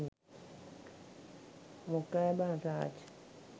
මොකෑ බං රාජ්